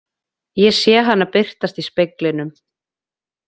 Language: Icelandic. Ég sé hana birtast í speglinum.